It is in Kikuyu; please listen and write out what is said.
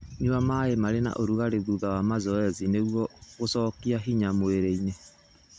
Nyua maĩ marĩ na ũrugarĩ thutha wa mazoezi nĩguo gũcokia nĩ hinya mwĩrĩinĩ.